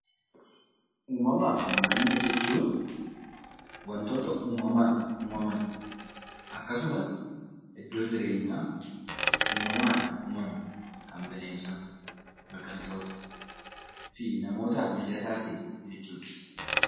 Uumama fi naannoo jechuun waantota uumamaan uumaman, akkasumas iddoo jireenyaa uumamaan uumame qaban kan bineensota, biqiltoota fi namootaaf mijataa ta'e jechuudha.